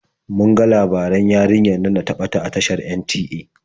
Mun ga labaran yarinyar nan da ta ɓata a tashar NTA.